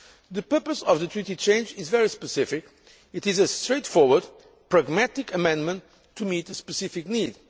The purpose of the treaty change is very specific. It is a straightforward, pragmatic amendment to meet a specific